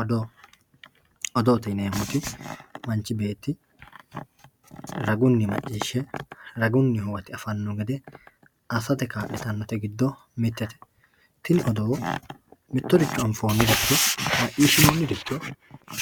Odoo odoote yinemoti manchi beeti raguni macishe raguni huwate afano gede asate kalitanote giddo mitete tini odoo mitoricho anfoniha macishinoniricho